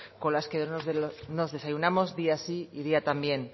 con las que nos desayunamos día sí y día también